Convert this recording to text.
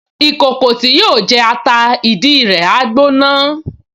Ìkòkò tí yóò jẹ ata ìdí rẹ̀ á gbóná